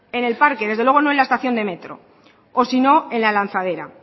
en el parque desde luego no la estación de metro o sino en la lanzadera